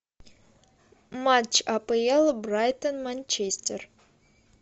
матч апл брайтон манчестер